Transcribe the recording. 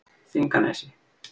Þinganesi